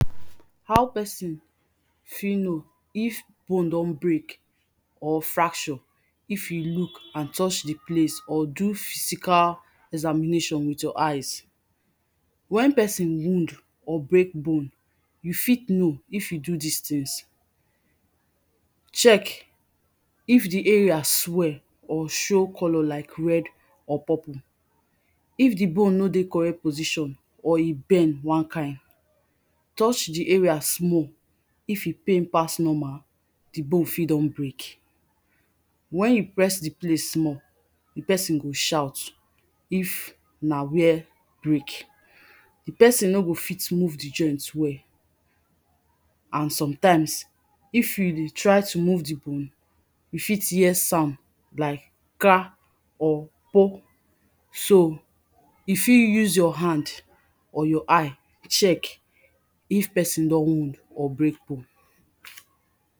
how pesin fit know if bone don brek or fracture if you look and touch di place or do physical examination with your eyes wen pesin wound or brek bone you fit know if e do dis tins check if di area swell or show color like red or purple if di bone nor de correct position or e bend one kind touch di area small if e pain pass normal di bone fit don brek wen you press di place small di pesin go shout if na where brek di pesin nor go fit move di joint well and sometimes if you de try to move di bone you fit hear sound like kra or po so you fit use your hand or your eye check if pesin don wound or brek bone